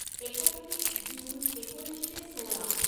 एकोणतीस जून एकोणीसशे सोळा